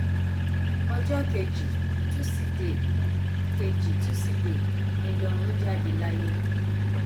ọjọ kejì tusidee kejì tusidee ni lọrun jáde láyé